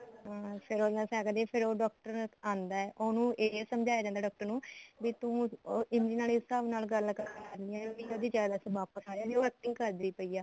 ਅਹ ਫੇਰ ਉਹਨਾ ਸਾਰੀਆਂ ਦੀ ਫੇਰ ਉਹ ਡਾਕਟਰ ਆਂਦਾ ਉਹਨੂੰ ਇਹ ਸਮਝਾਇਆ ਜਾਂਦਾ ਡਾਕਟਰ ਨੂੰ ਵੀ ਤੂੰ ਇਮਲੀ ਨਾਲ ਇਸ ਹਿਸਾਬ ਨਾਲ ਗੱਲ ਕਰਵਾਨੀ ਏ ਵੀ ਉਹਦੀ ਯਾਦਾਸ਼ ਵਾਪਿਸ ਆ ਜੇ ਉਹ acting ਕਰਦੀ ਪਈ ਐ